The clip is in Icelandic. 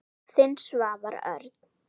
Þinn, Svavar Örn.